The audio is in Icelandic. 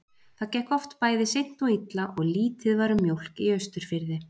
Það gekk oft bæði seint og illa og lítið var um mjólk á Austurfirði.